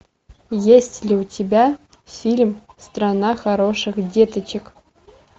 есть ли у тебя фильм страна хороших деточек